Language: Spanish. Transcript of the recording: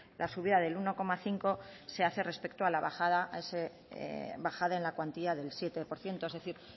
la subida del uno coma cinco se hace respecto a la bajada en la cuantía del siete por ciento es decir